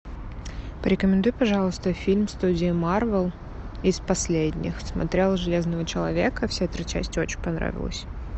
порекомендуй пожалуйста фильм студии марвел из последних смотрела железного человека все три части очень понравилось